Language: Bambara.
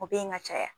O bɛ yen ka caya